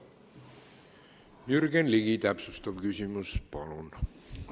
Jürgen Ligi, täpsustav küsimus, palun!